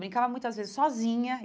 Brincava muitas vezes sozinha.